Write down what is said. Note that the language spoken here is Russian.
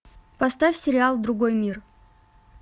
поставь сериал другой мир